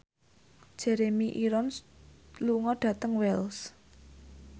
Jeremy Irons lunga dhateng Wells